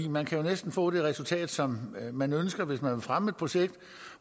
man kan næsten få det resultat som man ønsker hvis man vil fremme et projekt